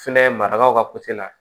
Fɛnɛ marakaw ka la